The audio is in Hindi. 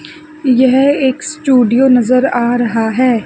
यह एक स्टूडियो नजर आ रहा है।